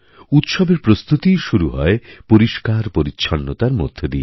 উৎসবের প্রস্তুতিই শুরু হয় পরিষ্কারপরিচ্ছন্নতার মধ্য দিয়ে